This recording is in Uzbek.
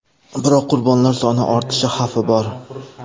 Biroq qurbonlar soni ortishi xavfi bor.